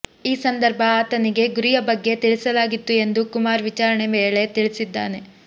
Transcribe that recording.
ಈ ಸಂದರ್ಭ ಆತನಿಗೆ ಗುರಿಯ ಬಗ್ಗೆ ತಿಳಿಸಲಾಗಿತ್ತು ಎಂದು ಕುಮಾರ್ ವಿಚಾರಣೆ ವೇಳೆ ತಿಳಿಸಿದ್ದಾನೆ